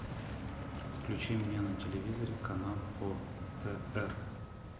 включи мне на телевизоре канал отр